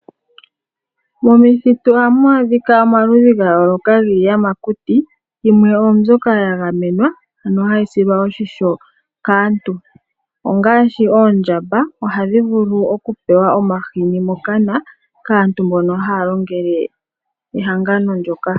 Momithitu ohamu adhika omaludhi gayooloka giiyamakuti yimwe ondyoka yagamenwa ano hayi silwa oshimpwiyu kaantu ongaashi oondjamba ohadhi vulu okupewa omahini mokana kaantu mbono haya longele ehangano ndoka.